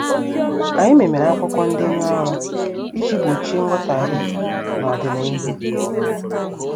Anyị memere akwụkwọ ndenye ọrụ iji gbochie nghotaghie n' odina ihu.